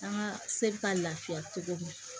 An ka se bɛ ka lafiya cogo min na